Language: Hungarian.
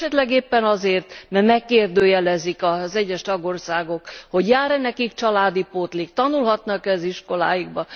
Esetleg éppen azért, mert megkérdőjelezik az egyes tagországok, hogy jár e nekik családi pótlék, tanulhatnak e az iskoláikban.